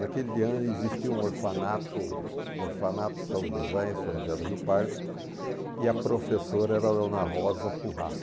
Naquele ano existia um orfanato, orfanato, São José e São José do Rio Pardo, e a professora era a Dona Rosa Pujá.